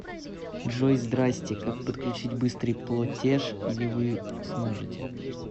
джой здрасти как подключить быстрый плотеш или вы сможете